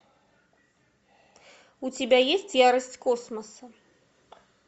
у тебя есть ярость космоса